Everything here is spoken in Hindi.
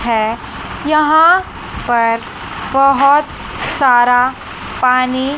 है यहां पर बहोत सारा पानी--